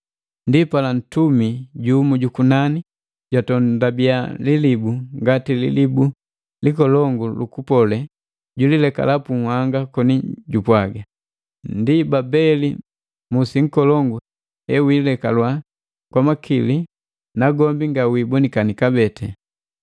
Ndipala ntumi jumu jukunani jwatondubia lilibu ngati lilibu likolongu lukupole, julilekala pu nhanga koni jupwaga, “Ndi Babeli musi nkolongu he wiilekalwa kwa makili nagombi nga wiibonikini kabee.